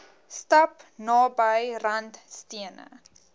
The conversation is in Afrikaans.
stap naby randstene